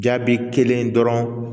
Jaabi kelen dɔrɔn